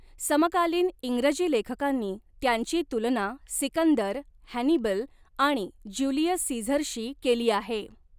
समकालीन इंग्रजी लेखकांनी त्यांची तुलना सिकंदर, हॅनिबल आणि ज्युलियस सीझरशी केली आहे.